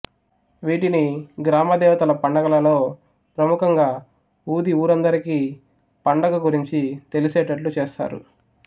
వీటిని గ్రామదేవతల పండగలలో ప్రముఖంగా ఊది ఊరందరికీ పండగ గురించి తెలిసెటట్లు చేస్తారు